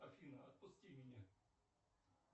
афина отпусти меня